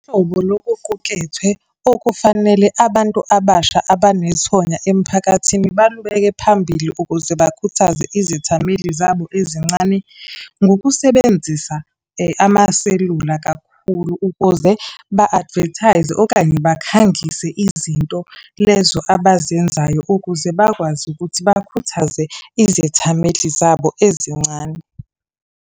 lokuqukethwe okufanele abantu abasha abanethonya emphakathini balubeke phambili ukuze bakhuthaze izethameli zabo ezincane, ngokusebenzisa amaselula kakhulu ukuze ba-advertise, okanye bakhangise izinto lezo abazenzayo. Ukuze bakwazi ukuthi bakhuthaze izethameli zabo ezincane.